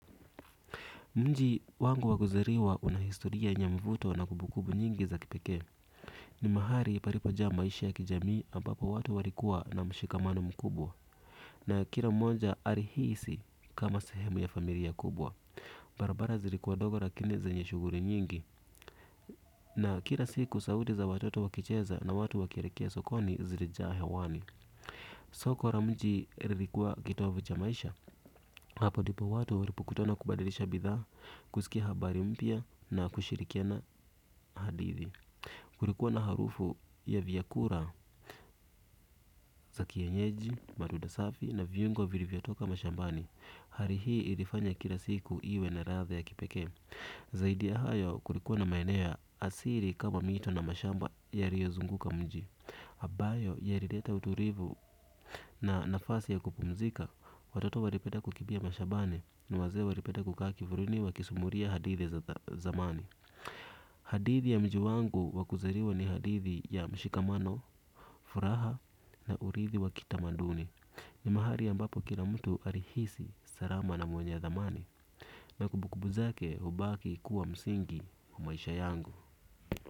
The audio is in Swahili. Mnji wangu wakuzariwa unahistoria yenye mvuto na kubukubu nyingi za kipekee. Ni mahali paripoja maisha ya kijamii ambapo watu warikua na mshikamano mkubwa. Na kira mmonja arihisi kama sehemu ya famiria kubwa. Barabara zirikuwa dogo rakini zenye shuguri nyingi. Na kira siku sauti za watoto wakicheza na watu wakierekea sokoni zirijaa hewani. Soko ra mji ririkuwa kitovu cha maisha. Hapo dipo watu waripo kutana kubadirisha bidhaa, kusikia habari mpya na kushirikiana hadithi. Kurikuwa na harufu ya vyakura za kienyeji, maduda safi na viungo virivyotoka mashambani. Hari hii ilifanya kila siku iwe na ratha ya kipekee. Zaidi ya hayo kurikuwa na maenea asiri kama mito na mashamba ya riozunguka mji. Habayo ya rireta uturivu na nafasi ya kupumzika. Watoto waripetlda kukibia mashabani ni wazee waripeda kukaa kivuruni wa kisumuria hadithi za zamani. Hadithi ya mji wangu wakuzariwa ni hadithi ya mshikamano, furaha na urithi wa kitamanduni. Ni mahari ambapo kira mtu alihisi sarama na mwenye ya thamani. Na kubukubu zake ubaki kuwa msingi wa maisha yangu.